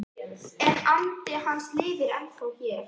En andi hans lifir ennþá hér